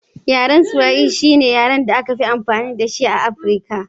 Yaren Swahili shine yaren da aka fi magana da shi a Afirka